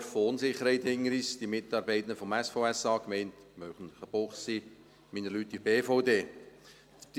Wir haben ein Jahr der Unsicherheit hinter uns: die Mitarbeitenden des SVSA, die Gemeinde Münchenbuchsee, meine Leute in der BVD.